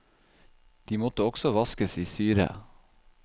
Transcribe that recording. De måtte også vaskes i syre.